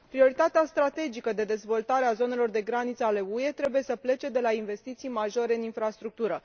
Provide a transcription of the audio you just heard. Prioritatea strategică de dezvoltare a zonelor de graniță ale UE trebuie să plece de la investiții majore în infrastructură.